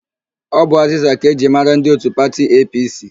Ọ bụ azịza ka e ji mara ndị òtù pati EePiiSii.